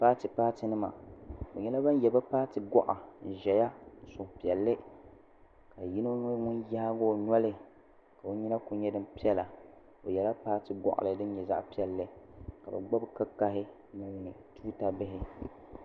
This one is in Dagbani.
Paati paati nima bɛ nyɛla ban ye bɛ paati goɣa n ʒɛya n niŋ suhupiɛlli ka yino nyɛ ŋun yaagi o noli ka o nyina kuli nyɛ din piɛla o yela paati goɣali fin nyɛ zaɣa piɛlli ka bɛ gbibi kikahi ni tuuta bihi.